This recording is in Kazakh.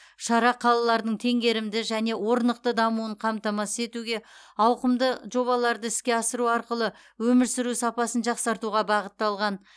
шара қалалардың теңгерімді және орнықты дамуын қамтамасыз етуге ауқымды жобаларды іске асыру арқылы өмір сүру сапасын жақсартуға бағытталған